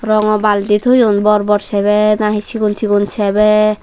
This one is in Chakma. rongo balti toyon bor bor sebe na hi sigon sigon sebe.